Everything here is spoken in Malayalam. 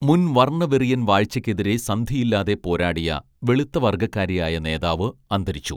മുൻ വർണവെറിയൻ വാഴ്ചക്കെതിരെ സന്ധിയില്ലാതെ പോരാടിയ വെളുത്ത വർഗ്ഗക്കാരിയായ നേതാവ് അന്തരിച്ചു